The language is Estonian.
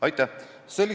Aitäh!